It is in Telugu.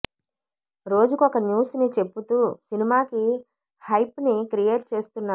రోజుకొక న్యూస్ ని చెప్పుతూ సినిమాకి హైప్ ని క్రియేట్ చేస్తున్నారు